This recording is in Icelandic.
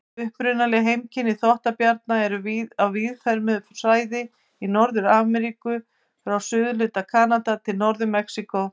Upprunaleg heimkynni þvottabjarna eru á víðfeðmu svæði í Norður-Ameríku, frá suðurhluta Kanada til Norður-Mexíkó.